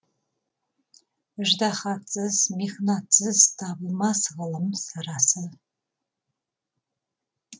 ыждаһатсыз михнатсыз табылмас ғылым сарасы